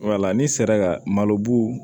Wala ni sera ka malobu